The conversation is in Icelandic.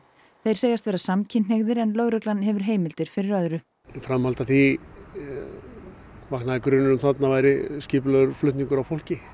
þeir segjast vera samkynhneigðir en lögreglan hefur heimildir fyrir öðru í framhaldi af því vöknuðu grunsemdir þarna væri skipulagður flutningur á fólki